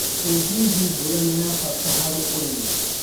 ĩ hihi mbura nĩ ya bata harĩ ũrĩmi.